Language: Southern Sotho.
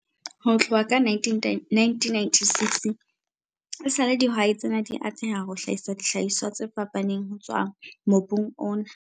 Ho tloha ka 1996 esale dihwai tsena di atleha ho hlahisa dihlahiswa tse fapaneng ho tswa mobung ona.